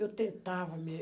Eu tentava